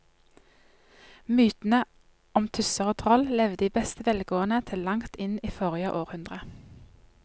Mytene om tusser og troll levde i beste velgående til langt inn i forrige århundre.